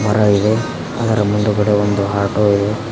ಮರ ಇದೆ ಅದರ ಮುಂದ್ಗಡೆ ಒಂದು ಆಟೋ ಇದೆ.